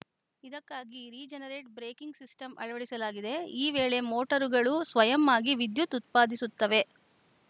ಇದಕ್ಕಾಗಿ regenerate braking system ಅಳವಡಿಸಲಾಗಿದೆ ಈ ವೇಳೆ ಮೋಟರ್‌ಗಳು ಸ್ವಯಂ ಆಗಿ ವಿದ್ಯುತ್‌ ಉತ್ಪಾದಿಸುತ್ತವೆ